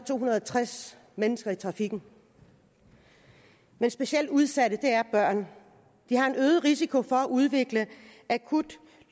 to hundrede og tres mennesker i trafikken men specielt udsatte er børn de har en øget risiko for at udvikle akut